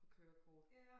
På kørekort